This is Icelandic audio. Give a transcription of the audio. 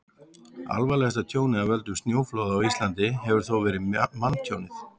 alvarlegasta tjónið af völdum snjóflóða á íslandi hefur þó verið manntjónið